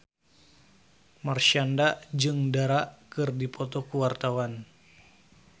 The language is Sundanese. Marshanda jeung Dara keur dipoto ku wartawan